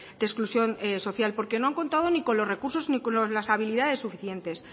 de exclusión social porque no han contado ni con los recursos ni con las habilidades suficientes